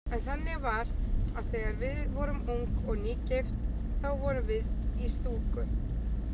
En þannig var að þegar við vorum ung og nýgift þá vorum við í stúku.